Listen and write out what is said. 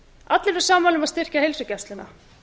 allir eru sammála um að styrkja heilsugæsluna